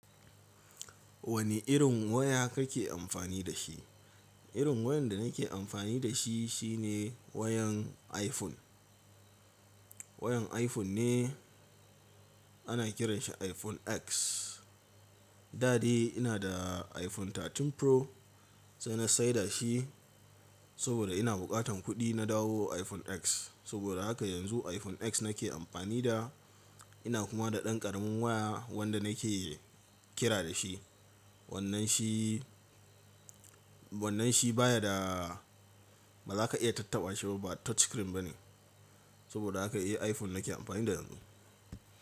Wane irin waya kake amfani da shi? Irin wayar da nake amfani da shi shine wayan iPhone. Wayan iPhone ne ana kiranshi iPhone X. Da dai ina da iPhone 13 Pro sai na saida shi saboda ina bukatan kuɗi na dawo iPhone X. Saboda haka yanzu iPhone X nake amfani da, ina kuma da ɗan ƙaramin waya wanda nake kira da shi. Wannan shi, wannan shi baya da ba za ka iya tattaɓa shi ba, ba touch screen bane. Saboda haka iya iPhone nake amfani da yanzu.